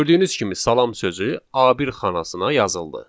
Gördüyünüz kimi salam sözü A1 xanasına yazıldı.